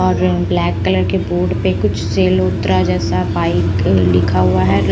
और black colour के board पे कुछ सेलोतरा जैसा बाइक लिखा हुआ है।